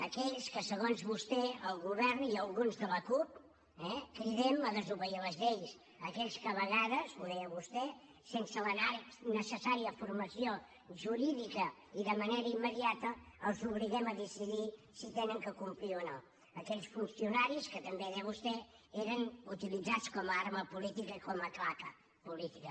aquells que segons vostè el govern i alguns de la cup eh cridem a desobeir les lleis aquells que a vegades ho deia vostè sense la necessària formació jurídica i de manera immediata els obliguem a decidir si han de complir o no aquells funcionaris que també ho deia vostè eren utilitzats com a arma política i com a claca política